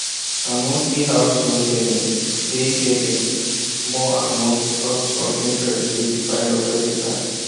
her monthly house loan payment dey heavy more and more because of interest wey dey pile up every time